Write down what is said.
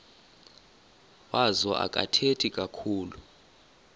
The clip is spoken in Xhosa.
wazo akathethi kakhulu